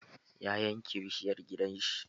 Ya yanke bishiyar gidan shi.